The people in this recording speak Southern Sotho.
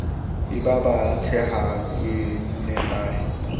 e baba tsehang e nepahe